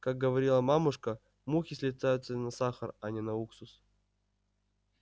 как говаривала мамушка мухи слетаются на сахар а не на уксус